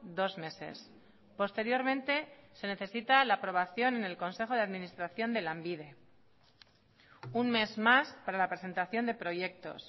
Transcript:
dos meses posteriormente se necesita la aprobación en el consejo de administración de lanbide un mes más para la presentación de proyectos